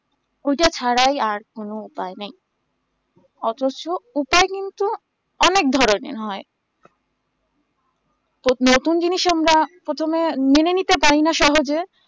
ঐটা ছাড়াই আর কোনো উপায় নাই অথচ ওটাই কিন্তু অনেক ধরণের হয় নতুন জিনিষ আমরা প্রথমে মেনে নিতে পারিনা সহজে